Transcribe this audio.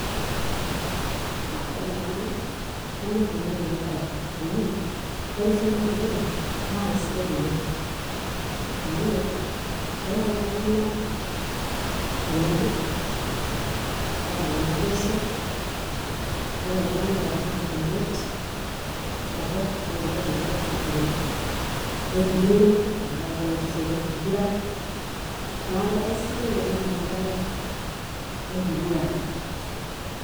Ah ore taa nanu kanyor oleng' enabae. Amu ore esiai enkiguran na kaisidai oleng' amu, eyau iltung'anak tenebo, neyau naboisho, ore oltung'ani oata duo indamunot torrok ena duo nagira aifikiria, nerikino tenkaraki enasiai enkiguran. Neeku kasidai oleng' enabae enkiguran.